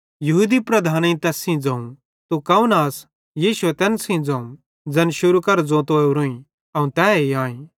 यहूदी लीडरेईं तैस सेइं ज़ोवं तू कौन आस यीशुए तैन सेइं ज़ोवं ज़ैन शुरू करां ज़ोतो ओरोईं अवं तैए आईं